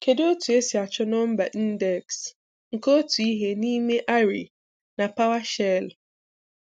Kedu otu esi achọ nọmba ndeksi nke otu ihe n'ime array na PowerShell?